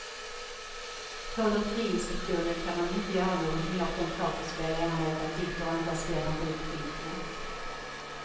På lotteriinspektionen kan man inte göra någonting åt de pokerspel, enarmade banditer och andra spel han driver på internet.